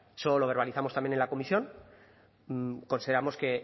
eso lo verbalizamos también en la comisión consideramos que